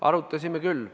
Arutasime küll.